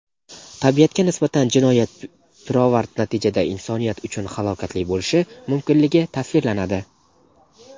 tabiatga nisbatan jinoyat pirovard-natijada insoniyat uchun halokatli bo‘lishi mumkinligi tasvirlanadi.